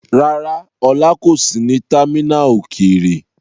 Rárá, Ola kò sí ní támínà òkèèrè.